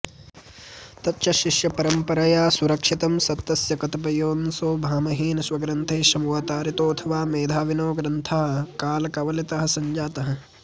तच्च शिष्यपरम्परया सुरक्षितं सत्तस्य कतिपयोंऽशो भामहेन स्वग्रन्थे समवतारितोऽथवा मेधाविनो ग्रन्थः कालकवलितः सञ्जातः